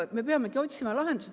Me peamegi otsima lahendusi.